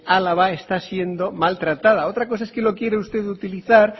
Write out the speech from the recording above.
álava está siendo mal tratada otra cosa es que lo quiera usted utilizar